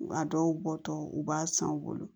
A dɔw bɔ tɔ u b'a san u bolo